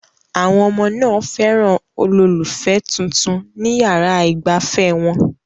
Àwọn ọmọ náà fẹ́ràn olólùfẹ́ tuntun ní yàrá ìgbafẹ́ wọn